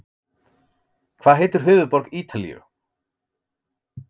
Hvað heitir höfuðborg Ítalíu?